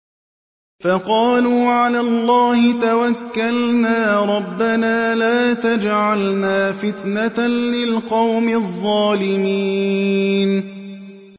فَقَالُوا عَلَى اللَّهِ تَوَكَّلْنَا رَبَّنَا لَا تَجْعَلْنَا فِتْنَةً لِّلْقَوْمِ الظَّالِمِينَ